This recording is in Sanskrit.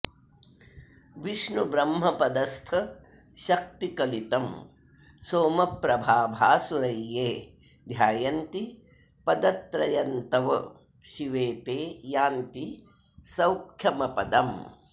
विष्णुब्रह्मपदस्थशक्तिकलितं सोमप्रभाभासुरय्ये ध्यायन्ति पदत्रयन्तव शिवे ते यान्ति सौख्यम्पदम्